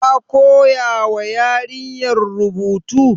Ka koya ma yarinyar rubutu?